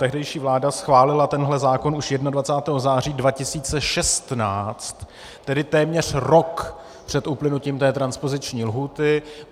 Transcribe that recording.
Tehdejší vláda schválila tenhle zákon už 21. září 2016, tedy téměř rok před uplynutím té transpoziční lhůty.